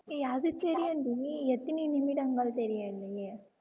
ஏய் அது தெரியும்டி எத்தனை நிமிடங்கள் தெரியவில்லையே